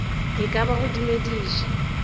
e ka ba go dumediša